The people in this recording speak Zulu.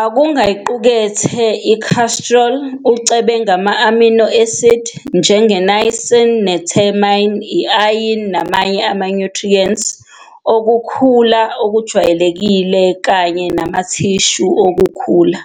akungayiqukethe i-cholesterol, ucebe ngama-amino esidi njenge-niacin ne-thiamine, i-iron namanye amanyuthriyenti okukhula okujwayelekile kanye namathishu okukhula.